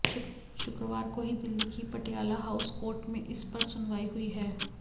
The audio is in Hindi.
शुक्रवार को ही दिल्ली की पटियाला हाउस कोर्ट में इस पर सुनवाई हुई है